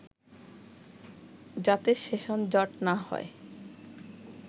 যাতে সেশন জট না হয়”